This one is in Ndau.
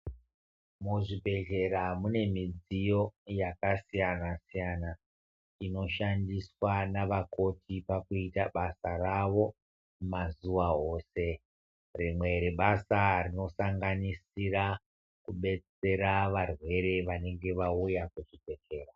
Muzvibhedhlera mune midziyo yakasiyana-siyana, inoshandiswa navakoti pakuita basa ravo mazuva ose. Rimwe rebasa rinosanganisira, kubetsera varwere vanenge vauya kuzvibhedhlera.